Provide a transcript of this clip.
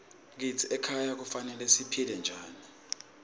kitsi emakhaya kufanele siphile njani